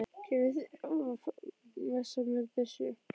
Kenni þeim að messa með byssu?